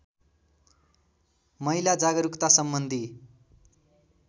महिला जागरूकता सम्बन्धी